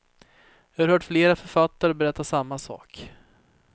Jag har hört flera författare berätta samma sak.